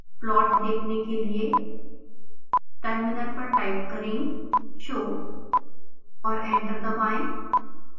plot देखने के लिए टर्मिनल पर टाइप करें show और एंटर दबाएं